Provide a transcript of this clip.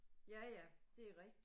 Ja ja, det er rigtigt